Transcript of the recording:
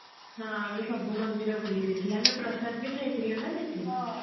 ହଁ ଆମେ ସବୁ ମନ୍ଦିର ବୁଲି ଦେଇଥିଲେ ଆମେ ପ୍ରସାଦ ବି ଖାଇଥିଲେ ନା ସେଠି